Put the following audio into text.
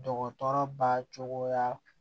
Dɔgɔtɔrɔba cogoya